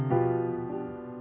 og